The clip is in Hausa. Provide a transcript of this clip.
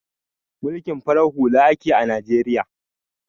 Mulkin farar hula ake a Najeriya